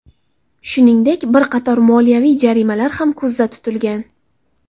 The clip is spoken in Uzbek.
Shuningdek, bir qator moliyaviy jarimalar ham ko‘zda tutilgan.